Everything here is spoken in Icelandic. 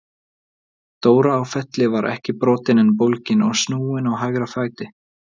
Dóra á Felli var ekki brotin en bólgin og snúin á hægra fæti.